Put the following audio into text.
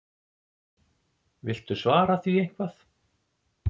Viltu svara því eitthvað?